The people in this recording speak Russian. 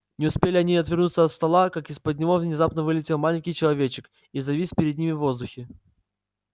не успели они отвернуться от стола как из-под него внезапно вылетел маленький человечек и завис перед ними в воздухе